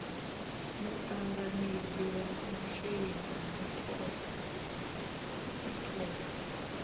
muṱanganedzi wa masheleni a mithelo